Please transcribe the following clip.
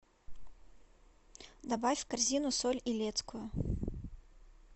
добавь в корзину соль илецкую